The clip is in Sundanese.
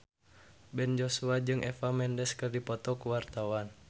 Ben Joshua jeung Eva Mendes keur dipoto ku wartawan